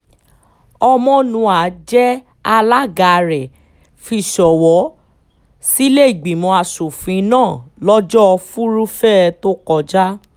ọmọnúà jẹ́ alága rẹ̀ fi ṣọwọ́ sílẹ̀ẹ́gbìmọ̀ asòfin náà lọ́jọ́ furuufée tó kọjá